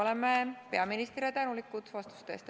Oleme peaministrile tänulikud vastuste eest.